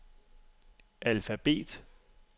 alfabet